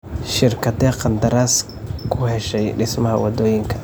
Shirkaddee qandaraas ku heshay dhismaha waddooyinka?